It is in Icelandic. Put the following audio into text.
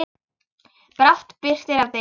Brátt birtir af degi.